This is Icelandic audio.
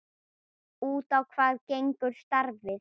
Út á hvað gengur starfið?